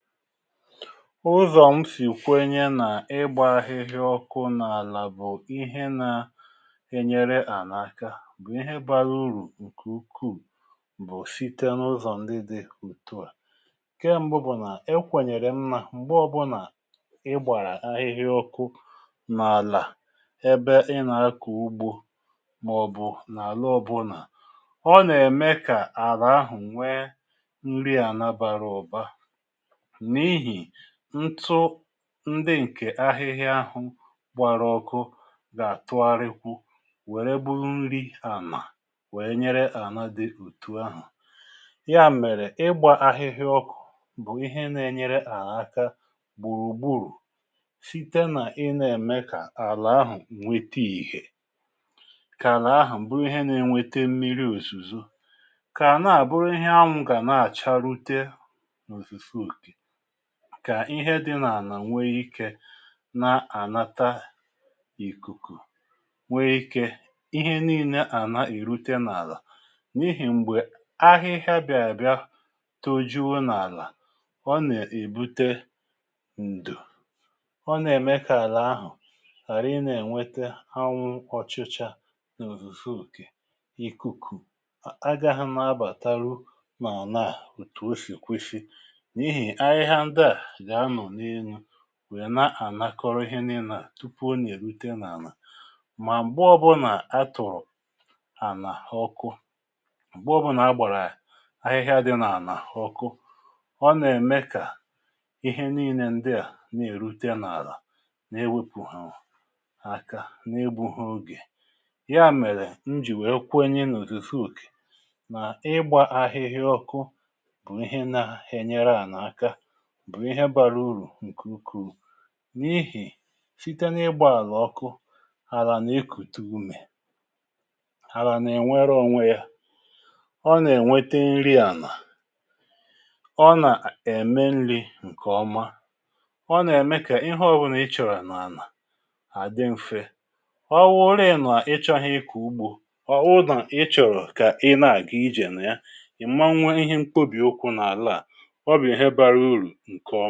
Ụzọ̀ m sì kwenye nà ịgbȧ ahịhịa ọkụ n’àlà bụ̀ ihe na-enyere àna aka bụ̀ ihe bȧrȧ urù nkè ukwuù bụ̀ site n’ụzọ̀ ndị dị ùtu à. Nkẹ m̀bụ bụ̀ nà e kwẹ̀nyẹ̀rẹ̀ m nȧ m̀gbè ọbụ̇nà ị gbàrà ahịhịa ọkụ n’àlà ẹbẹ ị nà-akọ̀ ugbȯ mà ọ̀bụ̀ n’àlà ọbụ̇nà ọ nà-ème kà àrà ahụ̀ nwẹ nri àna bàrà ụ̀ba n’ihì ntụ ndị ǹkè ahịhịa ahụ gbara ọkụ gà-àtụarịkwu wère buu nri ànà wèe nyere ànà dị òtù ahụ̀. Ya mèrè ịgbȧ ahịhịa ọkụ̇ bụ̀ ihe n’enyere àla aka gbùrùgburù site nà ịnȧ-ème kà àlà ahụ̀ nwete ìhè, ka àlà ahụ̀ bụrụ ihe na-enwete mmiri òzùzò, kà ànaà bụrụ ihe anwụ̇ gà na-àcharute n’ozuzu oke. Kà ihe dị nà-ànà nwe ike na-ànata ìkùkù, nwe ike ihe niilė àna èrute n’àlà n’ihì m̀gbè ahịhịa bị̀a bịa tojuo n’àlà ọ nà-èbute ǹdò. Ọ nà-ème kà àlà ahụ̀ hàra ị nà-ènwete anwụ ọchụcha nà òzùzu okè, ìkùkù a agaha n’abàtaru n’anà à òtù o sì kwesị. N’ihi ahịhịa ndaa ga-anọ n’elu wèe na-ànakọrọ ihe n’ina tupu ọ nà-èrute n’àlà. Mà m̀gbe ọ bụnà a tụ̀rụ̀ ànà ọkụ, m̀gbe ọbụnà a gbàrà ahịhịa dị n’àlà ọkụ, ọ nà-ème kà ihe nii̇nė ǹdịà na-èrute n’àlà na-ewepụhụ aka na-egbuhị ogè, ya mèrè njì wee kwenye n’òzuzu òkè nà ịgbȧ ahịhịa ọkụ bụ̀ ihe na-enyere ànà aka, bụ̀ ihe bara urù ǹkè ukwuù. N’ihì site n’ịgbȧ àlà ọkụ, alȧ n’ekùte umè, alȧ n’ènwere ònwe yȧ, ọ nà-ènwete nri ànà, ọ nà-a ème nri̇ ǹkè ọma, ọ nà-ème kà ihe ọ̀ bụnà ị chọ̀rọ̀ n’ànà àdị m̀fe. Ọ wụrịị nà ị chọ̀ghị ịkọ ugbȯ, ọwụrụ̀ na ị chọ̀rọ̀ kà ị nà-àga ijè nà ya, ị̀ ma nwe ihe mkpobì okwu n’àlà à, ọbụ ihe bara uru nke ọ